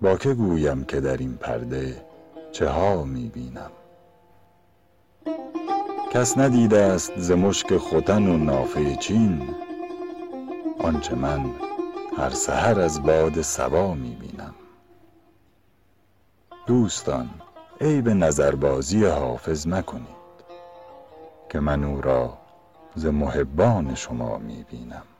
با که گویم که در این پرده چه ها می بینم کس ندیده ست ز مشک ختن و نافه چین آنچه من هر سحر از باد صبا می بینم دوستان عیب نظربازی حافظ مکنید که من او را ز محبان شما می بینم